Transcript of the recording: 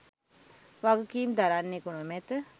වගකීම් දරන්නෙකු නොමැත.